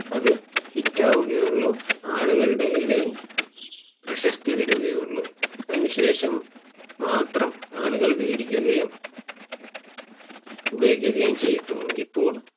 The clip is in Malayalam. അത് Hit ആവുകയുള്ളൂ ആളുകളുടെ ഇടയിൽ പ്രശസ്തി വരികയുള്ളൂ അതിനു ശേഷം മാത്രം ആളുകൾ വേടിക്കുകയും ഉപയോഗിക്കുകയും ചെയ്യത്തുമുള്ളൂ